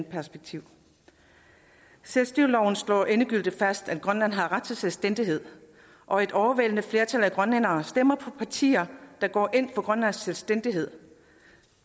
perspektiv selvstyreloven slår endegyldigt fast at grønland har ret til selvstændighed og et overvældende flertal af grønlændere stemmer på partier der går ind for grønlands selvstændighed